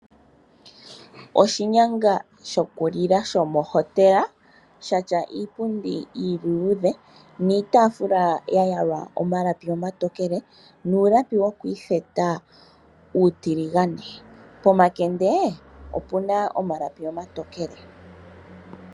Oshinyanga shoku lila shomohotela shatya iipundi iiluudhe niitafula ya yalwa omalapi omatokele, nuulapi wokwiitheta uutiligane. Pomakende opuna omalapi omatokele.